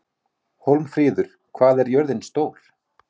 Hólmfríður, hvað er jörðin stór?